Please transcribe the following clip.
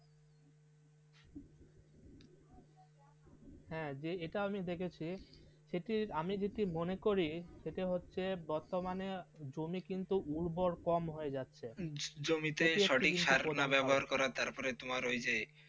হ্যাঁ যে এটা আমি দেখেছি সেটি আমি যেতে মনে করি সেটা হচ্ছে বর্তমানে জমি কিন্তু উর্বর কম হয়ে যাচ্ছে জমিতে সঠিক স্যার না ব্যবহার করে তারপরে তোমার ওই যে.